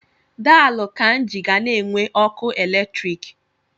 Daalụ Kainji ga na-enwe ọkụ eletrik.